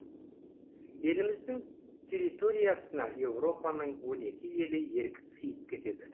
еліміздің территориясына европаның он екі елі еркін сыйып кетеді